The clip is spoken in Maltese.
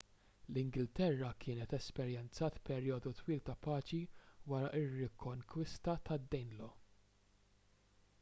l-ingilterra kienet esperjenzat perjodu twil ta' paċi wara r-rikonkwista tad-danelaw